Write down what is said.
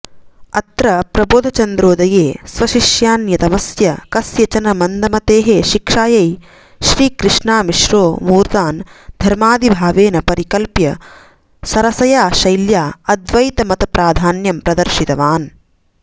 अत्र प्रबोधचन्द्रोदये स्वशिष्यान्यतमस्य कस्यचन मन्दमतेः शिक्षायै श्रीकृष्णामिश्रोऽमूर्तान् धर्मादिभावेन परिकल्प्य सरसया शैल्या अद्वैतमतप्राधान्यं प्रदर्शितवान्